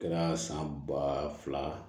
Kɛra san ba fila